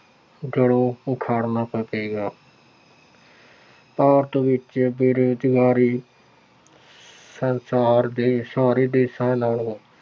ਜੜ੍ਹੋਂ ਉਖਾੜਨਾ ਪਵੇਗਾ। ਭਾਰਤ ਵਿੱਚ ਬੇਰੁਜ਼ਗਾਰੀ ਸੰਸਾਰ ਦੇ ਸਾਰੇ ਦੇਸ਼ਾਂ ਨਾਲੋਂ